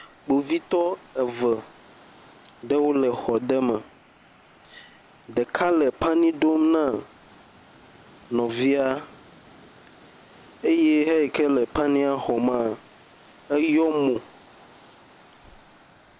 Kpovitɔ eve aɖewo le xɔ aɖe me. Ɖeka le pani dom na nɔvia eye eyi ke la pania xɔm la, eyɔ mo.